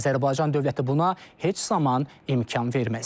Azərbaycan dövləti buna heç zaman imkan verməz.